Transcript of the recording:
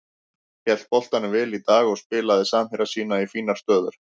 Hélt boltanum vel í dag og spilaði samherja sína í fínar stöður.